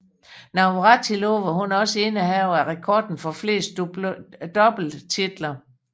Navratilova er også indehaver af rekorden for flest doubletitler